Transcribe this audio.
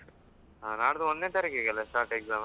ಹಾ ನಾಲ್ದು ಒಂದ್ನೆ ತಾರೀಖಿಗೆ ಅಲ್ಲ start exam ?